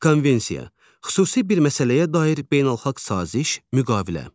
Konvensiya – xüsusi bir məsələyə dair beynəlxalq saziş, müqavilə.